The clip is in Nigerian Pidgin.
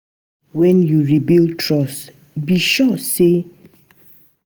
Wen yu rebuild trust, be sure yu dey true to yur word.